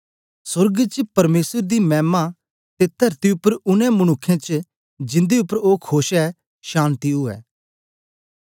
सोर्ग च परमेसर दी मैमा ते तरती उपर उनै मनुक्खें च जिंदे उपर ओ खोश ऐ शान्ति उवै